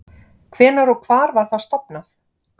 Hvenær og hvar var það stofnað?